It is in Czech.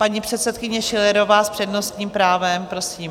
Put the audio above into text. Paní předsedkyně Schillerová s přednostním právem, prosím.